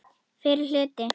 Fyrri hluti.